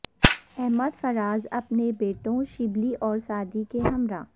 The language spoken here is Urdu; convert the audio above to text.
احمد فراز اپنے بیٹوں شبلی اور سعدی کے ہمراہ